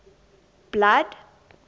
blood